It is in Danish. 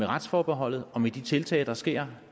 retsforbeholdet og med de tiltag der sker